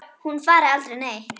Hún fari aldrei neitt.